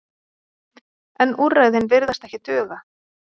En úrræðin virðast ekki duga.